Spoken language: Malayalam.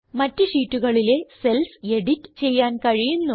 മറ്റ് ഷീറ്റുകളിലെ cellsഎഡിറ്റ് ചെയ്യാൻ കഴിയുന്നു